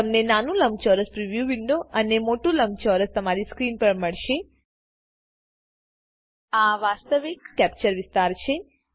તમને નાનું લંબચોરસ પ્રિવ્યુ વિન્ડો અને મોટું લંબચોરસ તમારી સ્ક્રીન પર મળશેઆ વાસ્તવિક કેપ્ચર વિસ્તાર છે